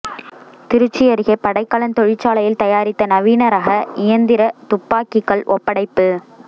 திருச்சி அருகே படைக்கலன் தொழிற்சாலையில் தயாரித்த நவீன ரக இயந்திர துப்பாக்கிகள் ஒப்படைப்பு